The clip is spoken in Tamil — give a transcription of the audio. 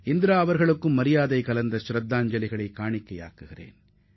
இந்திரா காந்திக்கு நமது மரியாதைக்குரிய வணக்கத்தை செலுத்துவோம்